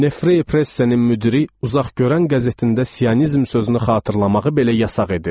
Nefre Pressenin müdiri uzaqgörən qəzetində Siyonizm sözünü xatırlamağı belə yasaq edirdi.